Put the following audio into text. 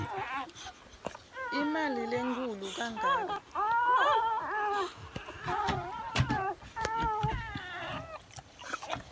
imali lenkhulu lengur